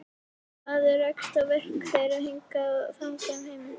Maður rekst á verk þeirra hingað og þangað um heiminn.